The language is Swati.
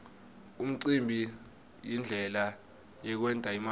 umcimbi yindlela yekwent imali